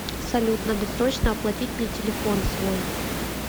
салют надо срочно оплатить мне телефон свой